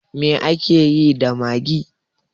Me akeyi da maggi?